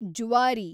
Zuari